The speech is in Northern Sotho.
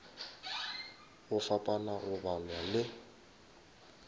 go fapana go balwa le